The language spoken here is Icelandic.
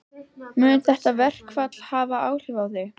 Mun þetta verkfall hafa áhrif á þig?